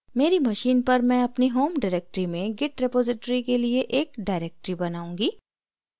मेरी machine पर मैं अपनी home directory में git repository के लिए एक directory बनाऊंगी